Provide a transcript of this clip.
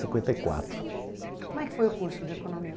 cinquenta e quatro. Como é que foi o curso de economia?